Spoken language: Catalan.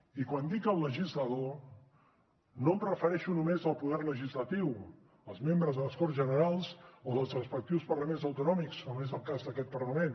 i quan dic el legislador no em refereixo només al poder legislatiu els membres de les corts generals o dels respectius parlaments autonòmics com és el cas d’aquest parlament